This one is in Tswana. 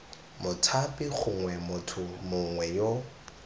mothapi gongwe motho mongwe yo